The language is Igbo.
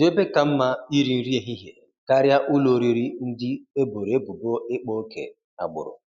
Kedụ ebe ka mma iri nri ehihie karịa ụlọ oriri ndị eboro ebubo ịkpa oke agbụrụ?